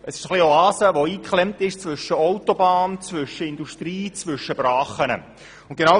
Es ist eine Oase, die zwischen Autobahn, Industrie und Brachen eingeklemmt ist.